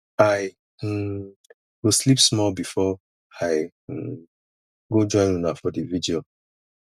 i um go sleep small before i um go join una for di virgil